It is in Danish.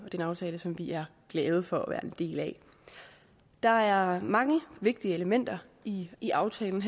er en aftale som vi er glade for at være en del af der er mange vigtige elementer i i aftalen